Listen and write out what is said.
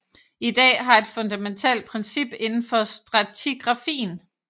I dag et fundamentalt princip indenfor stratigrafien